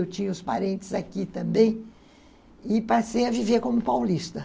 Eu tinha os parentes aqui também e passei a viver como paulista.